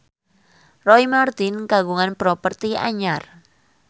Roy Marten kagungan properti anyar